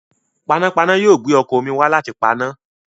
Panápaná yóò gbé ọkọ̀ omi wá láti paná.